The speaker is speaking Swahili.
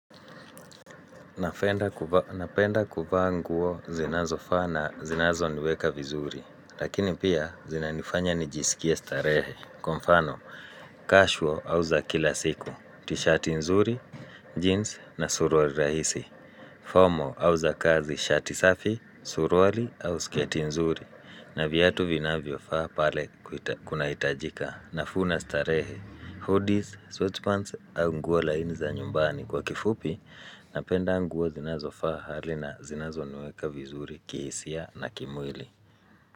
Napenda kuvaa nguo zinazofaa na zinazoniweka vizuri. Lakini pia zinanifanya nijisikie starehe Kwa mfano, casual au za kila siku. Tishati nzuri, jeans na suruali rahisi Formal au za kazi, shati safi, suruali au sketi nzuri na viatu vinavyofaa pale kunahitajika nafuu na starehe, hoodies, sweatpants au nguo laini za nyumbani kwa kifupi, napenda nguo zinazofaa hali na zinazoniweka vizuri kihisia na kimwili.